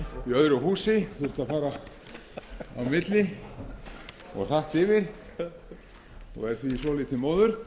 öðru húsi og þurfti að fara á milli og hratt yfir og er því svolítið móður